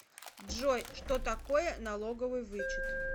джой что такое налоговый вычет